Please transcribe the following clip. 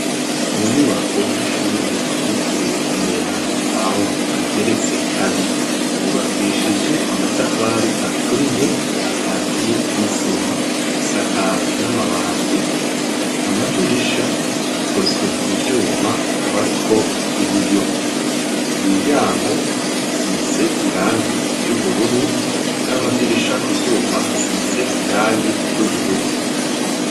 Ku nyubako y'ishure yitiriwe umweranda pawulo igeretse kabiri yubakishije amatafari aturiye akatiye n'isima isakaye n'amabati amadirisha akozwe mu vyuma akaba ariko ibiyo imiryanko isize irangi y'ubururu n'amadirisha ku vyuma hasize irangi ry'ubururu.